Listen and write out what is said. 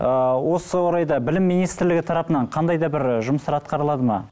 ыыы осы орайда білім министрлігі тарапынан қандай да бір жұмыстар атқарылады ма